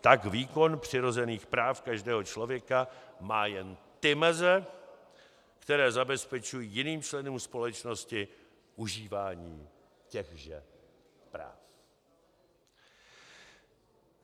Tak výkon přirozených práv každého člověka má jen ty meze, které zabezpečují jiným členům společnosti užívání těchže práv."